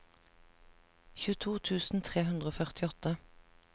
tjueto tusen tre hundre og førtiåtte